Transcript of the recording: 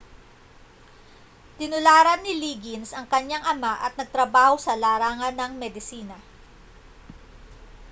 tinularan ni liggins ang kanyang ama at nagtrabaho sa larangan ng medisina